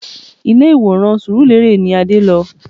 Ilé ìwòran surulere ni Adé lọ